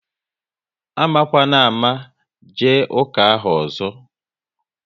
Amakwana ámá jee ụka ahụ ọzọ!